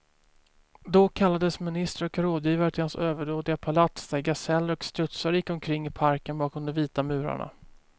Då kallades ministrar och rådgivare till hans överdådiga palats, där gaseller och strutsar gick omkring i parken bakom de vita murarna.